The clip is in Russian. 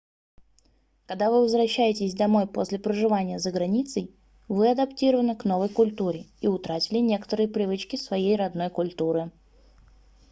когда вы возвращаетесь домой после проживания за границей вы адаптированы к новой культуре и утратили некоторые привычки своей родной культуры